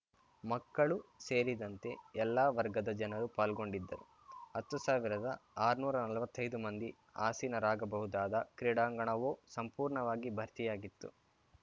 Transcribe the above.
ಮಕ್ಕಳು ಸೇರಿದಂತೆ ಎಲ್ಲ ವರ್ಗದ ಜನರು ಪಾಲ್ಗೊಂಡಿದ್ದರು ಹತ್ತು ಸಾವಿರದಆರ್ನೂರಾ ನಲ್ವತ್ತೈದು ಮಂದಿ ಆಸೀನರಾಗಬಹುದಾದ ಕ್ರೀಡಾಂಗಣವೂ ಸಂಪೂರ್ಣವಾಗಿ ಭರ್ತಿಯಾಗಿತ್ತು